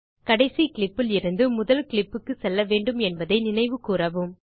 கடைசி கிளிப் லிருந்து முதல் clipக்குத் செல்லவேண்டும் என்பதை நினைவு கூரவும்